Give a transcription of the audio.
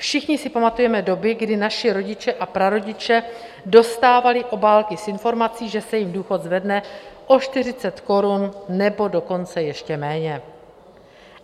Všichni si pamatujeme doby, kdy naši rodiče a prarodiče dostávali obálky s informací, že se jim důchod zvedne o 40 korun, nebo dokonce ještě méně.